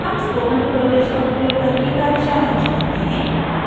हम spoken tutorials का उपयोग करके कार्यशालाएं चलाते हैं